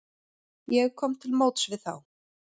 Ég kom til móts við þá.